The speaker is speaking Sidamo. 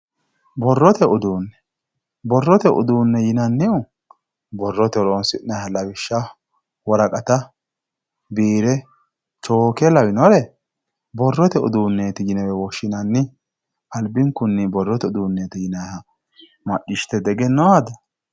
borrote uduunne borrote uduunne yinannihu borrote horonsi'nanniha lawishshaho woraqata biire chooke lawinore borrote uduunne yinewe woshshinanni albinkunni borrote uduunne yinanniha macciishshite diegenoo ada?